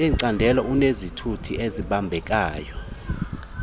yelicandelo unezizathu ezibambekayo